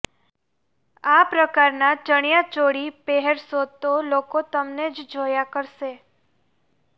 આ પ્રકારના ચણિયાચોળી પહેરશો તો લોકો તમને જ જોયા કરશે